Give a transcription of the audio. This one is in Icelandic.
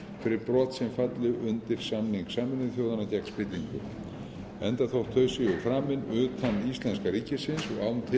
fyrir brot sem falla undir samning sameinuðu þjóðanna gegn spillingu enda þótt þau séu framin utan íslenska ríkisins og án tillits til